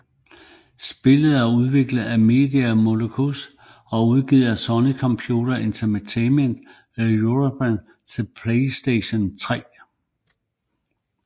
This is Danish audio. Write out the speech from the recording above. Spillet er udviklet af Media Molecule og udgivet af Sony Computer Entertainment Europe til PlayStation 3